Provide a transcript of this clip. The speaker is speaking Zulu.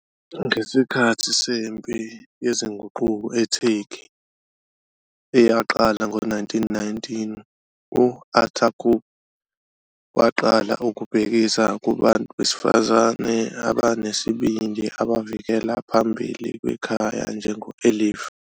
Ngesikhathi sempi yezinguquko eTurkey, eyaqala ngo-1919, u-Atatürk waqala ukubhekisa kubantu besifazane abanesibindi abavikela phambili kwekhaya njengo "Elifs".